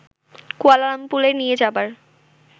কুয়ালালামপুরে নিয়ে যাবার